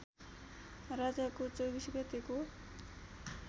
राजाको २४ गतेको